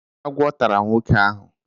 Agwọ tara nwoke ahụ.